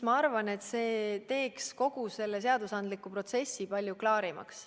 Ma arvan, et see teeks kogu seadusandliku protsessi palju klaarimaks.